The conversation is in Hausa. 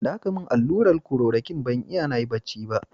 Da aka yi min allurar klorokwin, ban iya nayi bacci ba.